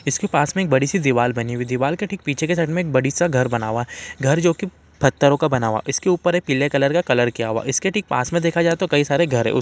इसमें पास में बड़ी सी दीवाल बनी हुई है दीवाल की ठीक पीछे के साइड में बड़ी सा घर बना हुआ है घर जो कि पत्थरो का बना हुआ है इसके ऊपर एक पीले कलर का कलर किया हुआ है इसके ठीक पास मे देखा जाये तो कई सारे घर है उस--